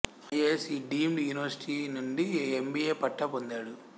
I A S E deemed university నుండి MBA పట్టా పొందాడు